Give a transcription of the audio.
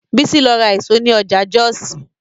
Bísí lọ ra èso ní ọjà Jọ́ọ̀sì